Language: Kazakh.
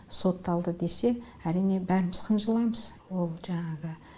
сотталды десе әрине бәріміз қынжыламыз ол жаңағы